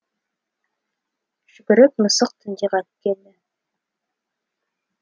жүгіріп мысық түнде қайтып келді